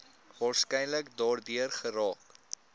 waarskynlik daardeur geraak